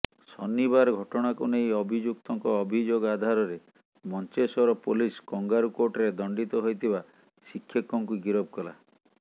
ଶନିବାର ଘଟଣାକୁ ନେଇ ଅଭିଯୁକ୍ତଙ୍କ ଅଭିଯୋଗ ଆଧାରରେ ମଞ୍ଚେଶ୍ବର ପୋଲିସ କଙ୍ଗାରୁକୋର୍ଟରେ ଦଣ୍ଡିତ ହୋଇଥିବା ଶିକ୍ଷକଙ୍କୁ ଗିରଫ କଲା